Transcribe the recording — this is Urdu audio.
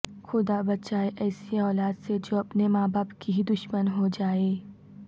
خدا بچائے ایسی اولاد سے جو اپنے ماں باپ کی ہی دشمن ہوجائے